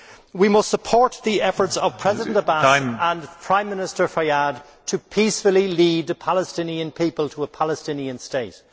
We must support the efforts of President Abbas and Prime Minister Fayyad to peacefully lead the Palestinian people to a Palestinian state.